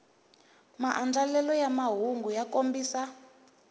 maandlalelo ya mahungu ya kombisa